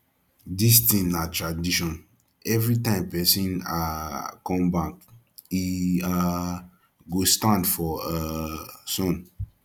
this thing na tradition everytime person um come bank he um go stand for um sun